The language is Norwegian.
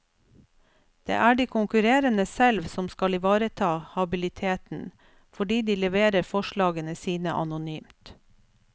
Det er de konkurrerende selv som skal ivareta habiliteten, fordi de leverer forslagene sine anonymt.